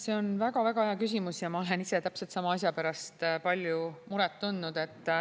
See on väga-väga hea küsimus ja ma olen ise täpselt sama asja pärast palju muret tundnud.